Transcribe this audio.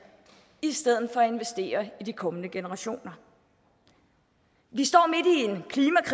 i stedet for at investere i de kommende generationer vi står